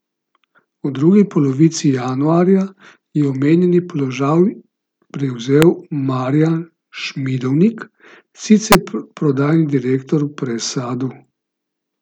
V drugi polovici januarja je omenjeni položaj prevzel Marjan Šmidovnik, sicer prodajni direktor v Presadu.